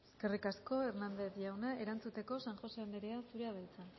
eskerrik asko hernández jauna erantzuteko san josé anderea zurea da hitza